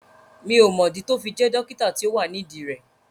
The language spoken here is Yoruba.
Mi ò mọ̀ dí tó fi jẹ́ dókítà tí ó wà nídìí rẹ̀